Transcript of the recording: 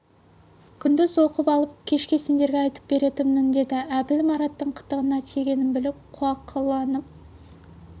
күндіз оқып алып кешке сендерге айтып беретінмін деді әбіл мараттың қытығына тигенін біліп қуақыланып